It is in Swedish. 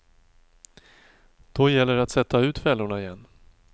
Då gäller det att sätta ut fällorna igen.